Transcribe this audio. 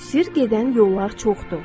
Sirr gedən yollar çoxdur.